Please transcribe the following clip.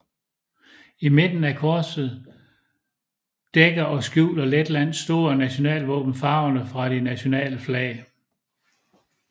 I midten af korset dækker og skjuler Letlands store nationalvåben farverne fra det nationale flag